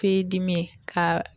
Feyi dimi ye ka